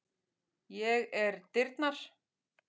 Ég er dyrnar.